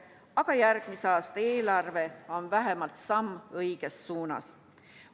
Aga järgmise aasta eelarve on vähemalt samm õiges suunas.